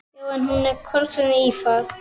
Já, en með kómísku ívafi.